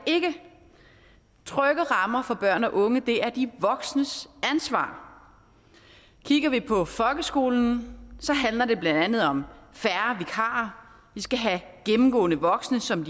trygge rammer for børn og unge er de voksnes ansvar kigger vi på folkeskolen handler det blandt andet om færre vikarer vi skal have gennemgående voksne som